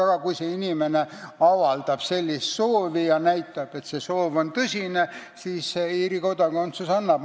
Aga kui inimene avaldab soovi ja näitab, et see soov on tõsine, siis Iirimaa ka kodakondsuse annab.